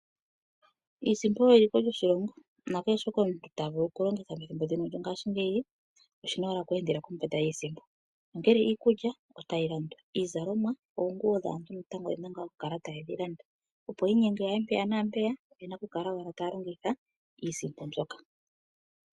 Iisimpo oyo eliko lyoshilongo nakehe shoka omuntu ta vulu oku longitha methimbo ndino lyongaashingeyi oshina owala oku endela kombanda yiisimpo, ongele iikulya otayi landwa, iizalomwa ano oonguwo dhaantu natango oyena ngaa oku kala taye dhi landa opo wu inyenge wuye mpeya naampeya oyena oku kala wo taya longitha iisimpo mbyoka